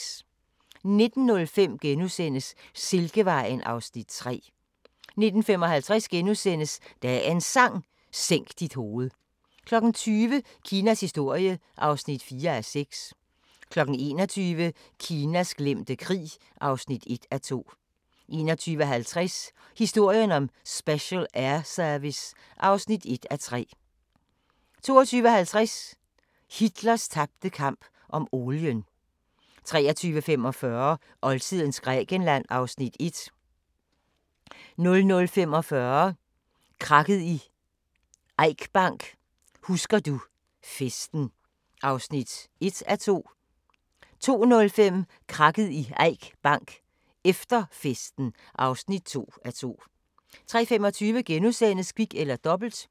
19:05: Silkevejen (Afs. 3)* 19:55: Dagens Sang: Sænk dit hoved * 20:00: Kinas historie (4:6) 21:00: Kinas glemte krig (1:2) 21:50: Historien om Special Air Service (1:3) 22:50: Hitlers tabte kamp om olien 23:45: Oldtidens Grækenland (Afs. 1) 00:45: Krakket i Eik Bank: Husker du festen (1:2) 02:05: Krakket i Eik Bank: Efter festen (2:2) 03:25: Kvit eller Dobbelt *